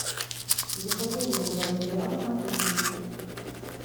екатерину владимировну матюхину